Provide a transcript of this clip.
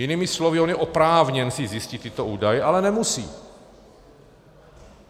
Jinými slovy on je oprávněn si zjistit tyto údaje, ale nemusí.